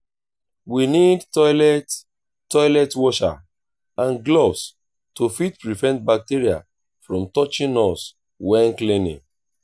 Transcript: we need toilet toilet washer and gloves to fit prevent bacteria from touching us when cleaning